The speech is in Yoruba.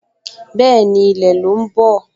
Bẹ́ẹ̀ni, ilẹ̀ ló ń bọ̀